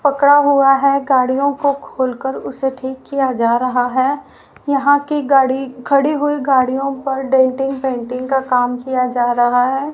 पकड़ा हुआ है गाड़ियों को खोल कर उसे ठीक किया जा रहा है यहां की गाड़ी खड़ी हुई गाड़ियों पर डेंटिंग पेंटिंग का काम किया जा रहा है।